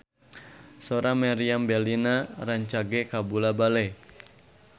Sora Meriam Bellina rancage kabula-bale